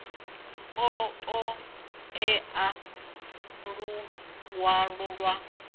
ḓo ṱo ḓea luṅwalo lwa